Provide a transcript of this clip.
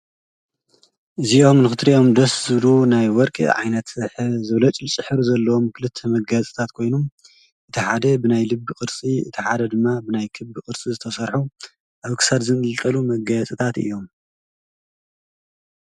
እዚኦም ክትሪኦም ደስ ዝብሉ ናይ ወርቂ ዓይነት ዘብለጭልጭ ሕብሪ ዘለዎም ክልተ መጋየፅታት ኮይኖም እቲ ሓደ ብናይ ልቢ ቅርፂ እቲ ሓደ ድማ ብናይ ክቢ ቅርፂ ዝተሰርሑ ኣብ ክሳድ ዝንጥልጠሉ መጋየፅታት እዮም ።